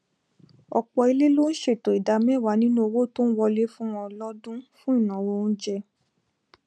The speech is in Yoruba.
ọpọ ilé ló n ṣètò ìdá mẹwàá nínú owó tó n wọlé fún wọn lọdún fún ìnáwó oúnjẹ